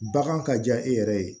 Bagan ka diya e yɛrɛ ye